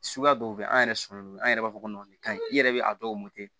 Suguya dɔw bɛ an yɛrɛ sɔlɔlen don an yɛrɛ b'a fɔ ko kaɲi i yɛrɛ bɛ a dɔw